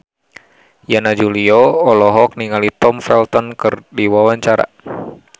Yana Julio olohok ningali Tom Felton keur diwawancara